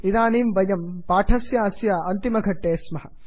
इदानीं वयं पाठस्यास्य अन्तिमघट्टे स्मः